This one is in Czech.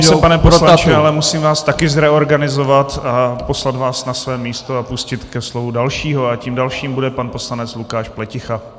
Omlouvám se, pane poslanče, ale musím vás taky zreorganizovat a poslat vás na vaše místo a pustit ke slovu dalšího a tím dalším bude pan poslanec Lukáš Pleticha.